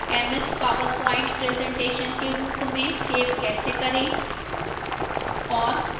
ms powerpoint presentation के रूप में सेव कैसे करें और